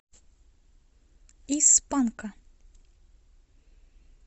из панка